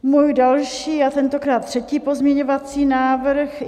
Můj další a tentokrát třetí pozměňovací návrh.